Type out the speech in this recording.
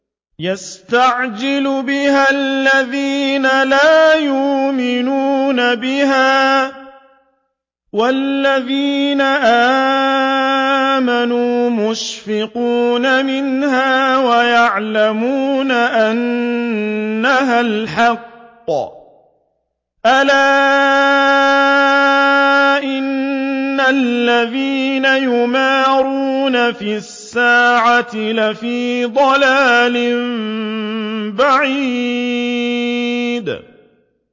يَسْتَعْجِلُ بِهَا الَّذِينَ لَا يُؤْمِنُونَ بِهَا ۖ وَالَّذِينَ آمَنُوا مُشْفِقُونَ مِنْهَا وَيَعْلَمُونَ أَنَّهَا الْحَقُّ ۗ أَلَا إِنَّ الَّذِينَ يُمَارُونَ فِي السَّاعَةِ لَفِي ضَلَالٍ بَعِيدٍ